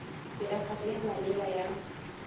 tiragatso e e maleba ya